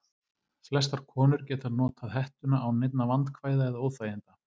Flestar konur geta notað hettuna án neinna vandkvæða eða óþæginda.